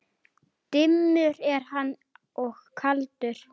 Dimmur er hann og kaldur.